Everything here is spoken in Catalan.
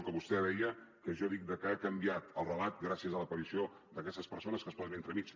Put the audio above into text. que vostè deia que jo dic que ha canviat el relat gràcies a l’aparició d’aquestes persones que es posen entremig